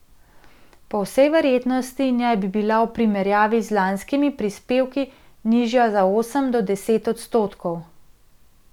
Po vsej verjetnosti naj bi bila v primerjavi z lanskimi prispevki nižja za od osem do deset odstotkov.